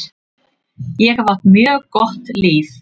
Ég hef átt mjög gott líf.